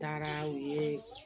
Taara u ye